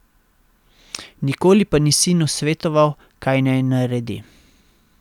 Nikoli pa ni sinu svetoval, kaj naj naredi.